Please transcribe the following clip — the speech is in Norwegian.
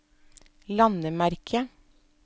landemerke